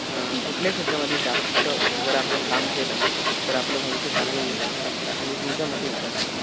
कुठल्या क्षेत्रामध्ये जास्त जर आपण काम केले तर आपलं भविष्य चांगलं होऊ शकतं म्हणजे तुमच्यामते विचारतोय मी.